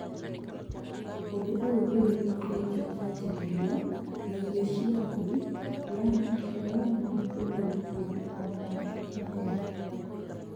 ũndũ ũyũ nĩwĩtĩkĩrĩtio kwanjĩrĩrio na irio cia thĩ ya maciaro na kũhumbĩra ota mũtugo mbembe